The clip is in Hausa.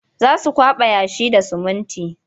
Za su kwaɓa yashi da sumunti.